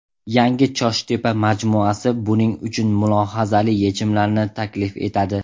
Yangi ChoshTepa majmuasi buning uchun mulohazali yechimlarni taklif etadi.